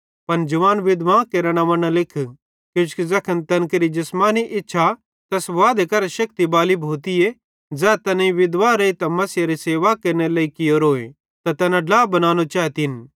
पन जवान विधवां केरां नंव्वां न लिख किजोकि ज़ैखन तैन केरि जिसमानी इच्छा तैस वादे करां शेक्ति बाली भोती ज़ै तैनेईं विधवा रेइतां मसीहेरी सेवा केरनेरे लेइ कियोरोए त तैना ड्ला बनानो चैतिन